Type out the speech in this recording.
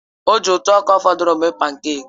O ji ntụ ọka fọdụrụnụ mee pánkèk